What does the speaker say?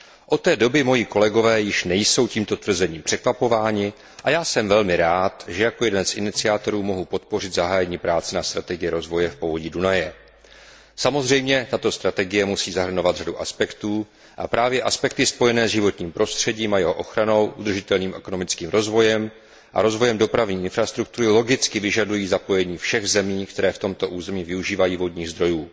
Od té doby již moji kolegové nejsou tímto tvrzením překvapováni a já jsem velmi rád, že jako jeden z iniciátorů mohu podpořit zahájení práce na strategii rozvoje v povodí Dunaje. Samozřejmě tato strategie musí zahrnovat řadu aspektů a právě aspekty spojené s životním prostředím a jeho ochranou, udržitelným ekonomickým rozvojem a rozvojem dopravní infrastruktury logicky vyžadují zapojení všech zemí, které v tomto území využívají vodních zdrojů.